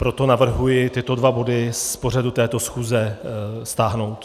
Proto navrhuji tyto dva body z pořadu této schůze stáhnout.